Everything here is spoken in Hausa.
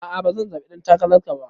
A'a bazan zaɓi ɗan takararka ba.